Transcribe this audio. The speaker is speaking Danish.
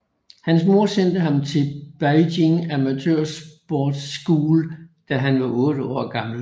Hans mor sendte ham til Beijing Amateur Sports School da han var otte år gammel